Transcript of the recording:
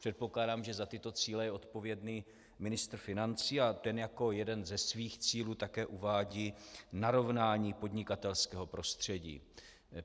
Předpokládám, že za tyto cíle je odpovědný ministr financí, a ten jako jeden ze svých cílů také uvádí narovnání podnikatelského prostředí.